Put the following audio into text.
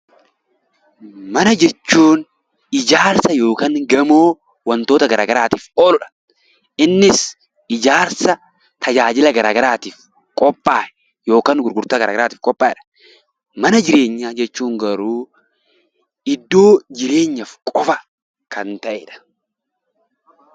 Mana jechuun ijaarsa yookiin gamoo wantoota garaa garaatiif ooludha. Innis ijaarsa tajaajila gara garaatiif qophaa'e yookaan gurgurtaa gara garaatiif qophaa'edha. Mana jireenyaa jechuun garuu iddoo jireenyaaf qofa kan ta'edha.